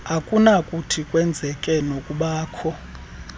okunokuthi kwenzeke nokubakho